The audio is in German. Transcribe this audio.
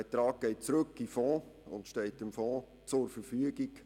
Dieser Betrag geht zurück in den Fonds und steht diesem zur Verfügung.